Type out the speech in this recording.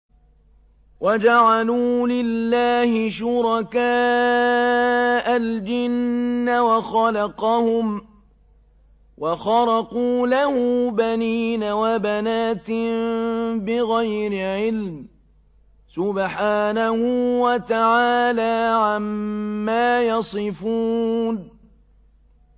وَجَعَلُوا لِلَّهِ شُرَكَاءَ الْجِنَّ وَخَلَقَهُمْ ۖ وَخَرَقُوا لَهُ بَنِينَ وَبَنَاتٍ بِغَيْرِ عِلْمٍ ۚ سُبْحَانَهُ وَتَعَالَىٰ عَمَّا يَصِفُونَ